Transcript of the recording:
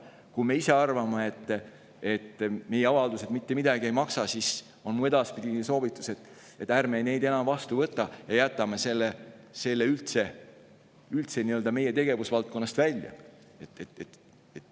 Kui me ise arvame, et meie avaldused mitte midagi ei maksa, siis on mu edaspidine soovitus, et ärme neid enam vastu võtame ja jätame kõik selle üldse meie tegevusvaldkonnast välja.